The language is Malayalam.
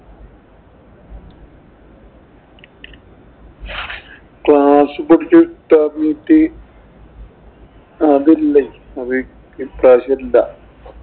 Class ഈ പഠിച്ച അതില്ലേ. ഈ പ്രാവശ്യം ഇല്ല.